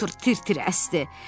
Potur tir-tir əsdi.